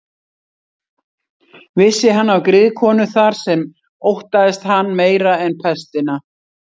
Vissi hann af griðkonu þar sem óttaðist hann meira en pestina.